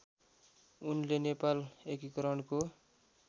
उनले नेपाल एकीकरणको